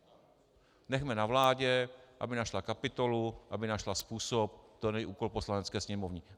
Nechme na vládě, aby našla kapitolu, aby našla způsob, to není úkol Poslanecké sněmovny.